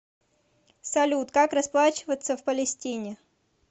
салют как расплачиваться в палестине